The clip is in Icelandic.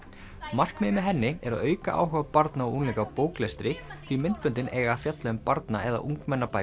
markmiðið með henni er að auka áhuga barna og unglinga á bóklestri því myndböndin eiga að fjalla um barna eða ungmennabækur